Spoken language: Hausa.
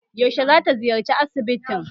Yaushe za ta ziyarci asibitin?